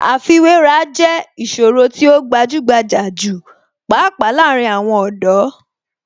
Àfiwéra jẹ́ ìṣòro tí ó gbajúgbajà jù pàápàá láàárín àwọn ọ̀dọ́.